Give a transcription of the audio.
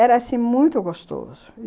Era, assim, muito gostoso.